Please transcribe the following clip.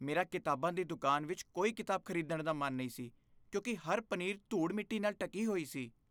ਮੇਰਾ ਕਿਤਾਬਾਂ ਦੀ ਦੁਕਾਨ ਵਿਚ ਕੋਈ ਕਿਤਾਬ ਖ਼ਰੀਦਣ ਦਾ ਮਨ ਨਹੀਂ ਸੀ ਕਿਉਂਕਿ ਹਰ ਪਨੀਰ ਧੂੜ ਮਿੱਟੀ ਨਾਲ ਢੱਕੀ ਹੋਈ ਸੀ